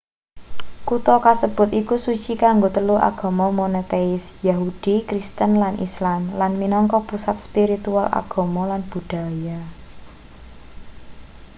kutha kasebut iku suci kanggo telu agama monoteis yahudi kristen lan islam lan minangka pusat spiritual agama lan budhaya